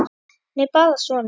Hann er bara svona.